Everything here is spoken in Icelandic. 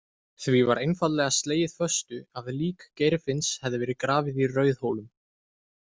Því var einfaldlega slegið föstu að lík Geirfinns hefði verið grafið í Rauðhólum.